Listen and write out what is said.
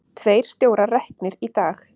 Tveir stjórar reknir í dag